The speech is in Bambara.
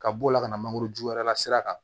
Ka b'o la ka na mangoro ju yɛrɛ la sira kan